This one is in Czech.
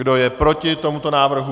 Kdo je proti tomuto návrhu?